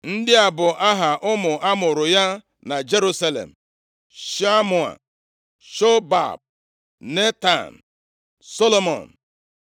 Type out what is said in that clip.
Ndị a bụ aha ụmụ a mụụrụ ya na Jerusalem: Shamua, Shobab, Netan, Solomọn, + 5:14 Ndị a bụ ụmụ ndị ikom Batsheba mụtaara Devid \+xt 1Ih 3:5\+xt*